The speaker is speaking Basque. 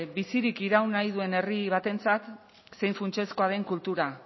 bizirik iraun nahi duen herri batentzat zein funtsezkoa den kultura